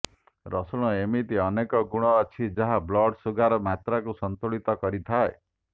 ରସୁଣ ଏମିତି ଅନେକ ଗୁଣ ଅଛି ଯାହା ବ୍ଲଡ଼ ସୁଗାର ମାତ୍ରାକୁ ସନ୍ତୁଳିତ କରିଥାଏ